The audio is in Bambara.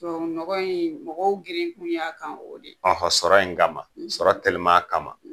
Tubabunɔgɔ in mɔgɔw girin kun y'a kan o de ye. Ɔhɔn sɔrɔ in kama ,sɔrɔ telima kama.